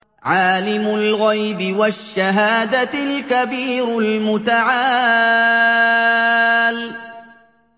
عَالِمُ الْغَيْبِ وَالشَّهَادَةِ الْكَبِيرُ الْمُتَعَالِ